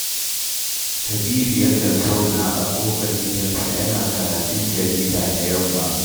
Ƙaribu yakan zauna a ƙofar gidansa yana karatun jarida da yamma